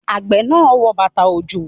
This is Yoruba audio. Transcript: Àgbẹ̀ náà wọ bàtà-òjò.